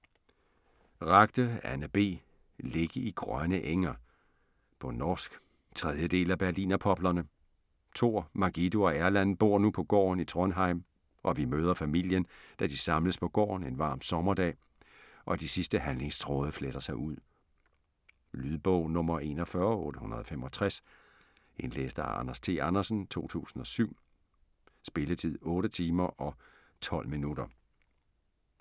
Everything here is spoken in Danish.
Ragde, Anne B.: Ligge i grønne enger På norsk. 3. del af Berlinerpoplene. Tor, Margido og Erland bor nu på gården i Trondheim, og vi møder familien, da de samles på gården en varm sommerdag, og de sidste handlingstråde fletter sig ud. Lydbog 41865 Indlæst af Anders T. Andersen, 2007. Spilletid: 8 timer, 12 minutter.